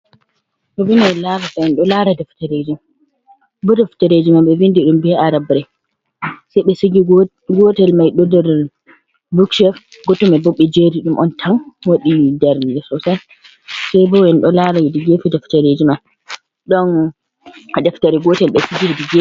Endo laara deftereji, bo defterejiman be vindi dum be arabre. Sai be sigi gotel mai nɗerr bukshef, gotelmaibo bbe jeeri dum on tan wadi darnde sosai. Saibo en do laara hedi gefe deftereji man. Ɗon deftare gotel be sigi hedi gefe.